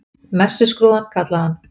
Messuskrúðann, kallaði hann.